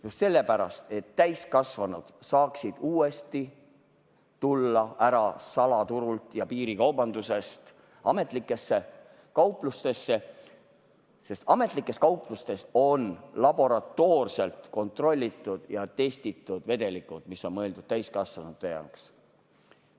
Just sellepärast, et täiskasvanud saaksid tulla ära salaturult ja piirikaubandusest ametlikesse kauplustesse, sest ametlikes kauplustes on laboratoorselt kontrollitud ja testitud vedelikud, mis on mõeldud täiskasvanute jaoks.